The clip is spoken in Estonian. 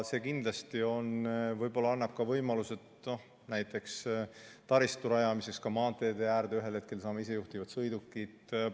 See annab kindlasti võimaluse näiteks taristu rajamiseks maanteede äärde, ühel hetkel saame näiteks isejuhtivad sõidukid.